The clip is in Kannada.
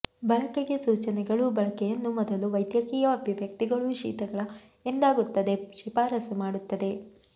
ಬಳಕೆಗೆ ಸೂಚನೆಗಳು ಬಳಕೆಯನ್ನು ಮೊದಲು ವೈದ್ಯಕೀಯ ಅಭಿವ್ಯಕ್ತಿಗಳು ಶೀತಗಳ ಎಂದಾಗುತ್ತದೆ ಶಿಫಾರಸು ಮಾಡುತ್ತದೆ